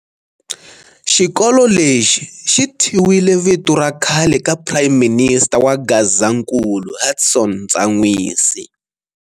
Xikolo lexi xI thyiwile vito ra khale ka Prime minister wa Gazankulu Hudson Ntsanwisi.